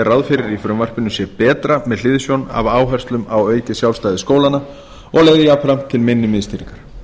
ráð fyrir í frumvarpinu sé betra með hliðsjón af áherslum á aukið sjálfstæði skólanna og leiði jafnframt til minni miðstýringar